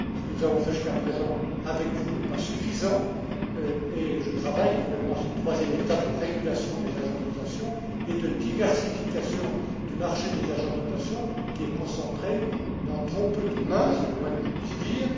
Ce que nous avons fait jusqu'à présent avec vous n'est pas suffisant et je travaille actuellement à cette troisième étape de régulation des agences de notation et de diversification du marché des agences de notation qui est concentré dans trop peu de mains, c'est le moins que je puisse dire.